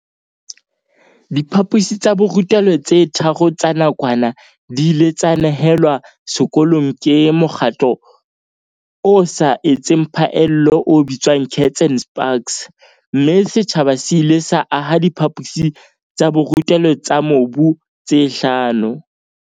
Diphaposi tsa borutelo tse tharo tsa nakwana di ile tsa nehelwa sekolong ke mokgatlo o sa etseng phaello o bitswang Kats and Spaks, mme setjhaba se ile sa aha diphaposi tsa borutelo tsa mobu tse hlano.